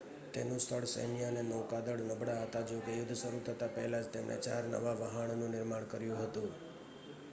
તેનું સ્થળ સૈન્ય અને નૌકાદળ નબળાં હતાં જોકે યુદ્ધ શરૂ થતા પહેલાં જ તેમણે ચાર નવા વહાણનું નિર્માણ કર્યું હતું